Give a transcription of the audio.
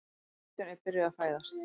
Söguhetjan er byrjuð að fæðast.